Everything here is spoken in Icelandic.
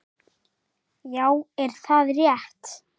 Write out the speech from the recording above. Já, er það rétt?